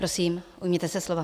Prosím, ujměte se slova.